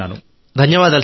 ధన్యవాదాలు సార్